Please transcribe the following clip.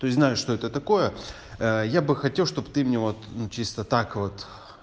то есть знаю что это такое ээ я бы хотел чтоб ты мне вот чисто так вот